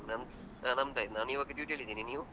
ನಮ್ ಸ ನಮ್ದಾಯ್ತು. ನಾನೀವಾಗ duty ಲಿದೀನಿ ನೀವು?